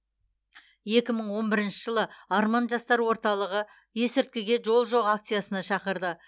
екі мың он бірінші жылы арман жастар орталығы есірткіге жол жоқ акциясына шақырды